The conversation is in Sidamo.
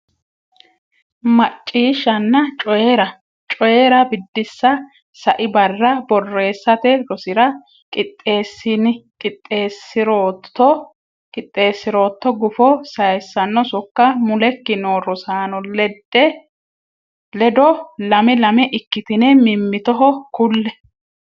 Macciishshanna Coyi’ra: Coyi’ra Biddissa Sai barra borreessate rosira qixxeessi’rootto gufo sayissanno sokka mulekki noo rosaano ledo lame lame ikkitine mimmitoho kulle.